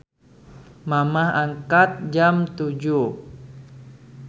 Mamah angkat jam 07.00